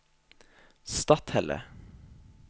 Stathelle